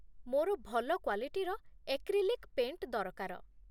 ମୋର ଭଲ କ୍ୱାଲିଟିର ଏକ୍ରିଲିକ୍ ପେଣ୍ଟ୍ ଦରକାର ।